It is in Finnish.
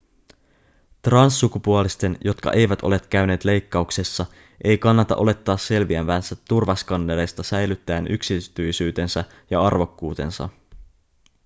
transsukupuolisten jotka eivät ole käyneet leikkauksessa ei kannata olettaa selviävänsä turvaskannereista säilyttäen yksityisyytensä ja arvokkuutensa